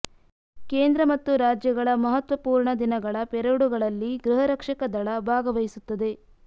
ಕೇಂದ್ರ ಮತ್ತು ರಾಜ್ಯಗಳ ಮಹತ್ವಪುರ್ಣ ದಿನಗಳ ಪೆರೇಡುಗಳಲ್ಲಿ ಗೃಹರಕ್ಷಕ ದಳ ಭಾಗವಹಿಸುತ್ತದೆ